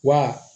Wa